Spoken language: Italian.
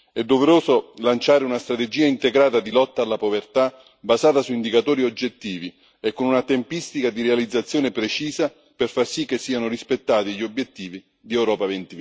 È doveroso lanciare una strategia integrata di lotta alla povertà, basata su indicatori oggettivi e con una tempistica di realizzazione precisa, per far sì che siano rispettati gli obiettivi di Europa